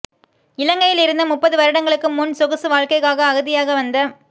இலங்கையில் இருந்து முப்பது வருடங்களுக்கு முன் சொகுசு வாழ்க்கைக்காக அகதியாக வந்த